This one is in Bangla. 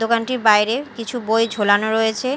দোকানটির বাইরে কিছু বই ঝোলানো রয়েছে।